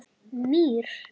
Mýri